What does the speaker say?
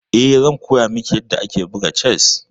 Eh, zan koya miki yadda ake buga chess.